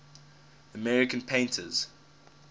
american painters